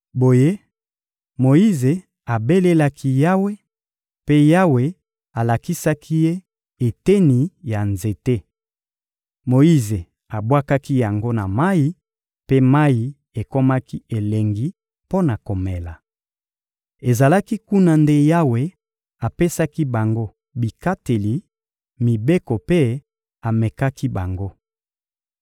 Boye Moyize abelelaki Yawe, mpe Yawe alakisaki ye eteni ya nzete. Moyize abwakaki yango na mayi, mpe mayi ekomaki elengi mpo na komela. Ezalaki kuna nde Yawe apesaki bango bikateli, mibeko mpe amekaki bango.